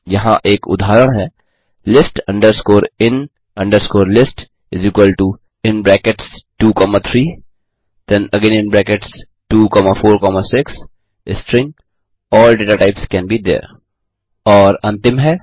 यहाँ एक उदाहरण है list in list23246stringall data types can be there 3